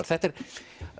þetta er